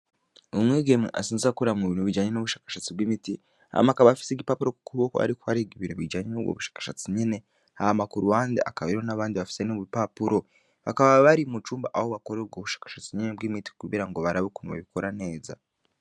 Umwigeme asanzwe akorera mubintu bijanye n'ubushakashatsi bw'imiti, Hama akaba afise igipapuro kukuboko ariko ariga ibijanye nubwo bushakashatsi nyene hama kuruhande hakaba hariho n'abandi bafise n'ubupapuro . Bakaba bari mucumba aho bakorera nubwo bushakashatsi nyene bw'imiti kugirango barabe ukuntu babikora neza.